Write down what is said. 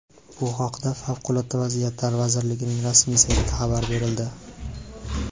Bu haqda Favqulodda vaziyatlar vazirligining rasmiy saytida xabar berildi .